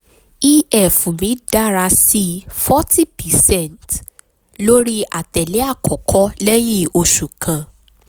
ef mi dara si forty percent lori atẹle akọkọ lẹhin oṣu kan